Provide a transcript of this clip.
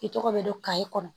I tɔgɔ bɛ don kaye kɔnɔ